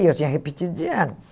E eu tinha repetido de ano.